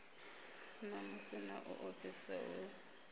namusi na u ofhisa hu